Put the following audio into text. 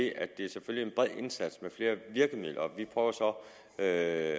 i at det selvfølgelig er indsats med flere virkemidler vi prøver så at